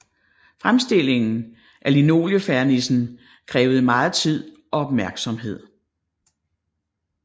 Fremstillingen af linoliefernissen krævede megen tid og opmærksomhed